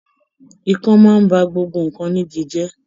Ikán máa n ba gbogbo nkan onígí jẹ.